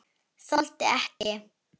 Þoldi ekki.